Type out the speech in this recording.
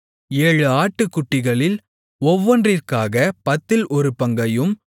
ஏழு ஆட்டுக்குட்டிகளில் ஒவ்வொன்றிற்காகப் பத்தில் ஒரு பங்கையும்